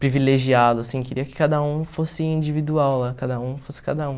privilegiado, assim, queria que cada um fosse individual lá, cada um fosse cada um.